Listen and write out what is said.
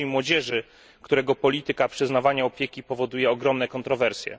Dzieci i Młodzieży, którego polityka przyznawania opieki powoduje ogromne kontrowersje.